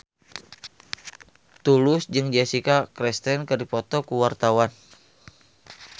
Tulus jeung Jessica Chastain keur dipoto ku wartawan